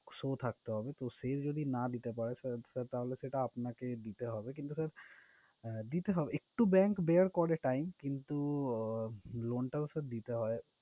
Show থাকতে হবে। তো সে যদি না দিতে পারে sir তাহলে sir সেটা আপনাকে দিতে হবে, কিন্তু sir দিতে হবে। একটু bank bear করে time কিন্তু উহ loan টাও sir দিতে হয়।